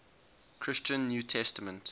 christian new testament